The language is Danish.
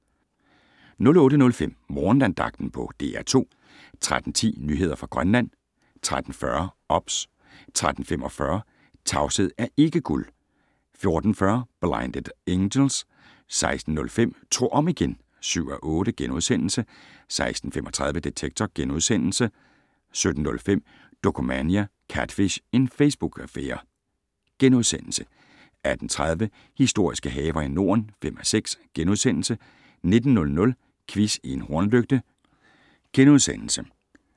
08:05: Morgenandagten på DR2 13:10: Nyheder fra Grønland 13:40: OBS 13:45: Tavshed er ikke guld! 14:40: Blinded Angels 16:05: Tro om igen! (7:8)* 16:35: Detektor * 17:05: Dokumania: Catfish - en Facebook-affære * 18:30: Historiske haver i Norden (5:6)* 19:00: Quiz i en hornlygte *